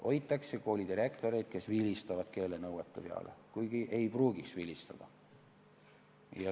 Hoitakse koolidirektoreid, kes vilistavad keelenõuete peale, kuigi ei pruugiks vilistada.